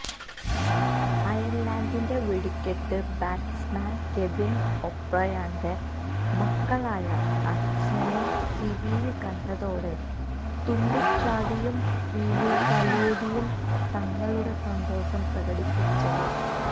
അയര്ലന്ഡിന്റെ വെടിക്കെട്ട് batsman Kevin ഒബ്രയാന്റെ മക്കളാണ് അച്ഛനെ ടിവിയില് കണ്ടതോടെ തുള്ളിച്ചാടിയും സ്ക്രീനില് തലോടിയും തങ്ങളുടെ സന്തോഷം പ്രകടിപ്പിച്ചത്